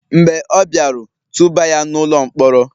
mb͕e ọ biaru, tubà ya n'ulo-nkpọrọ!